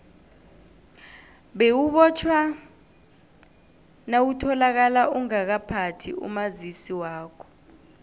bewubotjhwa nawutholakale ungakaphathi umazisi wakho